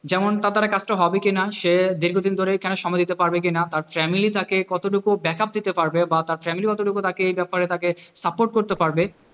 যেমন তার দ্বারাই কাজটা হবে কিনা, সে দীর্ঘদিন ধরে এখানে সময় দিতে পারবে কি না, তার family তাকে কতটুকু backup দিতে পারবে বা তার family কতটুকু তাকে এ ব্যাপারে support করতে পারবে,